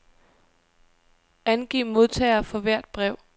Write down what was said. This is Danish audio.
Angiv modtagere for hvert brev.